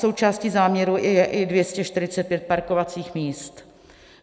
Součástí záměru je i 245 parkovacích míst.